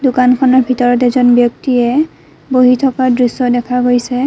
দোকানখনৰ ভিতৰত এজন ব্যক্তিয়ে বহি থকা দৃশ্য দেখা গৈছে।